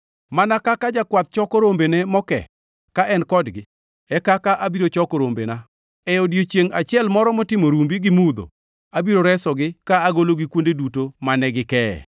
Mana kaka jakwath choko rombene moke ka en kodgi, e kaka abiro choke rombena. E odiechiengʼ achiel moro motimo rumbi gi mudho, abiro resogi ka agologi kuonde duto mane gikee.